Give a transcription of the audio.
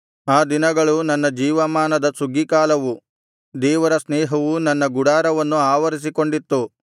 ಆ ದಿನಗಳು ನನ್ನ ಜೀವಮಾನದ ಸುಗ್ಗೀಕಾಲವು ದೇವರ ಸ್ನೇಹವು ನನ್ನ ಗುಡಾರವನ್ನು ಆವರಿಸಿಕೊಂಡಿತ್ತು